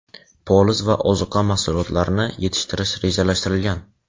poliz va ozuqa mahsulotlarini yetishtirish rejalashtirilgan.